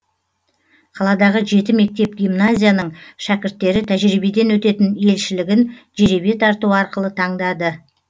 қаладағы жеті мектеп гимназияның шәкірттері тәжірибеден өтетін елшілігін жеребе тарту арқылы таңдады